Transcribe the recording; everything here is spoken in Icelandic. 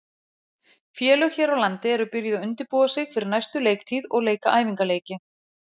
Félög hér á landi eru byrjuð að undirbúa sig fyrir næstu leiktíð og leika æfingaleiki.